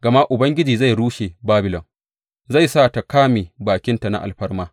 Gama Ubangiji zai rushe Babilon, zai sa ta ƙame bakinta na alfarma.